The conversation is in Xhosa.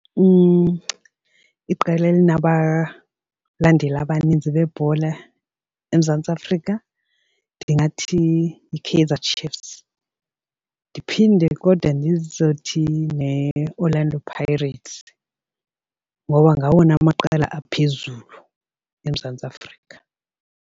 Iqela elinabalandeli abanintsi bebhola eMzantsi Afrika ndingathi yiKaizer Chiefs. Ndiphinde kodwa ndizothi neOrlando Pirates ngoba ngawona amaqela aphezulu eMzantsi Afrika.